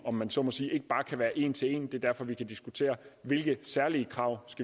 om man så må sige ikke bare kan være en til en det er derfor vi kan diskutere hvilke særlige krav